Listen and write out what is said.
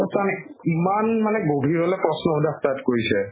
ইমান মানে গভীৰলৈ প্ৰশ্ন সোধা start কৰিছে